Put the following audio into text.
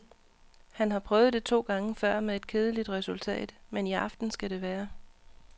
Han har prøvet det to gange før med et kedeligt resultat, men i aften skal det være.